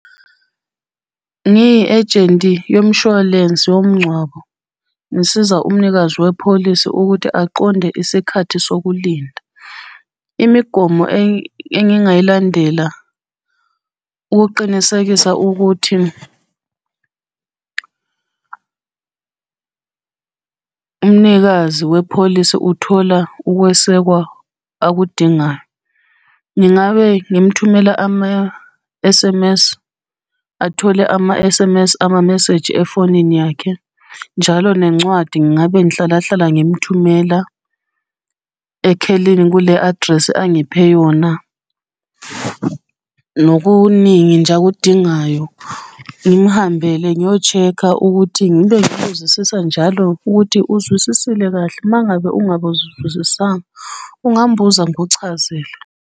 Ngiyi-ejenti yomshwalensi womngcwabo, ngisiza umnikazi wepholisi ukuthi aqonde isikhathi sokulinda. Imigomo engingayilandela ukuqinisekisa ukuthi umnikazi wepholisi uthola ukwesekwa akudingayo. Ngingabe ngimthumela ama-S_M_S, athole ama-S_M_S, amameseji efonini yakhe, njalo nencwadi ngabe ngihlala hlala ngimuthumela, ekhelini kule address angiphe yona. Nokuningi nje akudingayo ngimuhambele ngiyoshekha ukuthi ngibe ngimubuzisisa njalo ukuthi uzwisisile kahle uma ngabe ungabuzizisiswanga ungangibuza ngikuchazele.